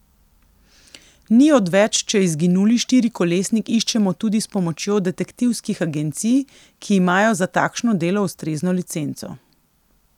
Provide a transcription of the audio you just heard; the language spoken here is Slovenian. Ni odveč, če izginuli štirikolesnik iščemo tudi s pomočjo detektivskih agencij, ki imajo za takšno delo ustrezno licenco.